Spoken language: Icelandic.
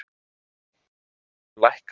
Silfur lækkar enn